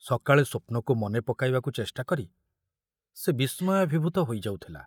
ସକାଳେ ସ୍ବପ୍ନକୁ ମନେ ପକାଇବାକୁ ଚେଷ୍ଟାକରି ସେ ବିସ୍ମୟାଭିଭୂତ ହୋଇଯାଉଥିଲା।